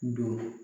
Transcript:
Don